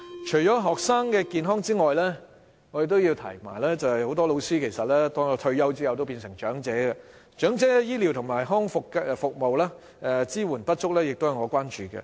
除了學生健康外，很多老師退休後都會變成長者，長者的醫療及康復服務支援不足，也是我所關注的。